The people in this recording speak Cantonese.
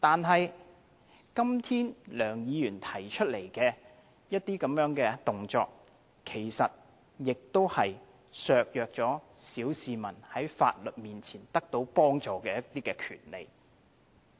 可是，今天梁議員提出來的這些動作，其實亦削弱了小市民在法律面前獲得幫助的權利。